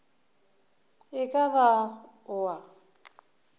e ka ba o a